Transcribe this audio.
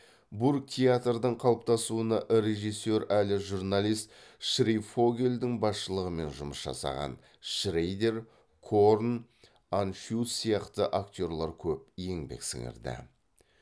бургтеатрдың қалыптасуына режиссер әлі журналист шрейфогельдің басшылығымен жұмыс жасаған шрейдер корн аншюц сияқты актерлер көп еңбек сіңірді